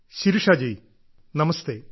Shirisha ji നമസ്തേ